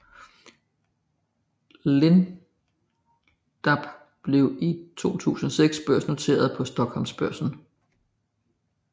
Lindab blev i 2006 børsnoteret på Stockholmsbörsen